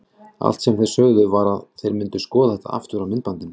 Allt sem þeir sögðu var að þeir myndu skoða þetta aftur á myndbandi.